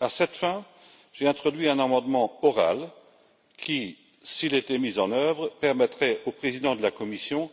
À cette fin, j'ai introduit un amendement oral qui, s'il était mis en œuvre, permettrait au président de la Commission